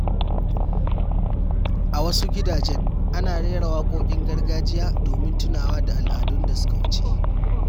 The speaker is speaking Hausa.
A wasu gidajen, ana rera waƙoƙin gargajiya domin tunawa da al’adun da suka wuce.